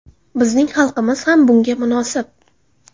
Bizning xalqimiz ham bunga munosib.